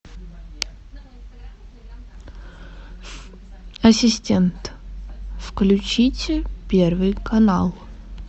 ассистент включите первый канал